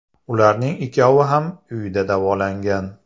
Ularning ikkovi ham uyda davolangan.